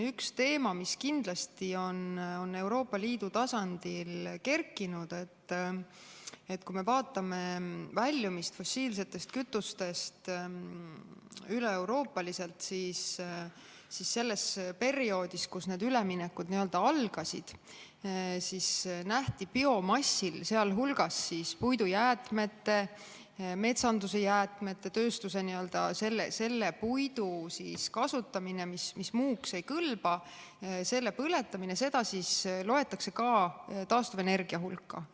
Üks teema, mis on Euroopa Liidu tasandil kerkinud, on see, et kui me vaatame fossiilsetest kütustest väljumist üleeuroopaliselt, siis selles perioodis, kus need üleminekud algasid, loeti biomassi, sh puidujäätmete ja metsanduse jäätmete põletamine ning tööstuses selle puidu kasutamine, mis muuks ei kõlba, ka taastuvenergia hulka.